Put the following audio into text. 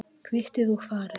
Kvittið og farið.